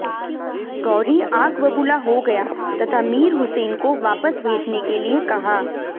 गौरी आगबबूला हो गया तथा मीर हुसैन को वापस भेजने के लिए कहा